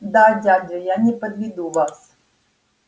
да дядя я не подведу вас